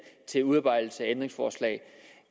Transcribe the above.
til udarbejdelse af ændringsforslag